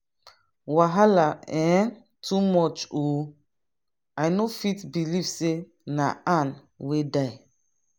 wahala um too much ooo! i no fit believe say na ann wey die.